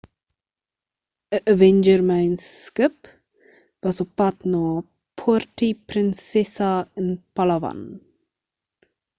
ń avenger myn skip was op pad na puerto princesa in palawan